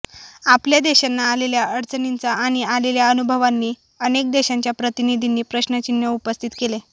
आपल्या देशांना आलेल्या अडचणींचा आणि आलेल्या अनुभवांनी अनेक देशांच्या प्रतिनिधींनी प्रश्नचिन्ह उपस्थित केले